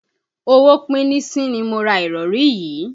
Owó píníṣín ni mo ra ìrọ̀rí yìí.